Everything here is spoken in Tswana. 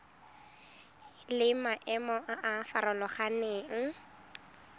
le maemo a a farologaneng